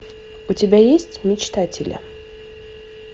у тебя есть мечтатели